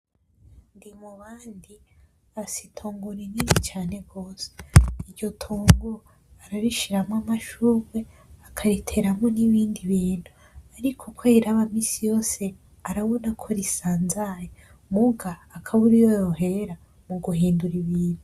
Ndimubandi afise itongo rinini cane gose iryo tongo ararishiramwo amashugwe akariteramwo nibindi bintu ariko uko ariraba misi yose arabona ko risanzaye muga akabura iyo yohera mugihindura ibintu